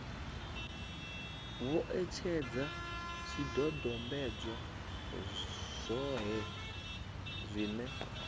vho etshedza zwidodombedzwa zwohe zwine